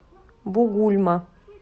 бугульма